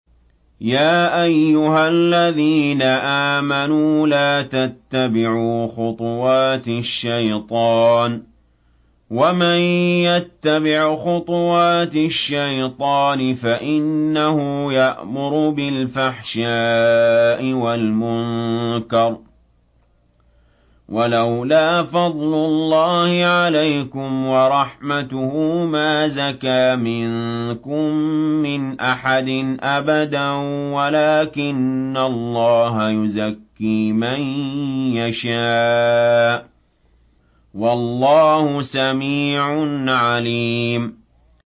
۞ يَا أَيُّهَا الَّذِينَ آمَنُوا لَا تَتَّبِعُوا خُطُوَاتِ الشَّيْطَانِ ۚ وَمَن يَتَّبِعْ خُطُوَاتِ الشَّيْطَانِ فَإِنَّهُ يَأْمُرُ بِالْفَحْشَاءِ وَالْمُنكَرِ ۚ وَلَوْلَا فَضْلُ اللَّهِ عَلَيْكُمْ وَرَحْمَتُهُ مَا زَكَىٰ مِنكُم مِّنْ أَحَدٍ أَبَدًا وَلَٰكِنَّ اللَّهَ يُزَكِّي مَن يَشَاءُ ۗ وَاللَّهُ سَمِيعٌ عَلِيمٌ